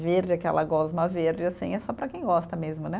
Verde, aquela gosma verde, assim, é só para quem gosta mesmo, né?